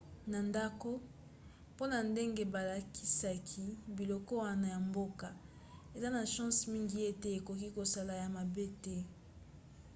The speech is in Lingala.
na ndako mpona ndenge balakisaki biloko wana ya mboka eza na chance mingi ete ekoki kosala yo mabe te